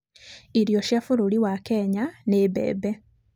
Irio cia bũrũri wa Kenya nĩ mbembe.